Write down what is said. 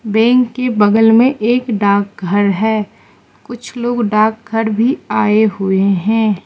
Bank के बगल में एक डाकघर है कुछ लोग डाकघर भी आए हुए हैं।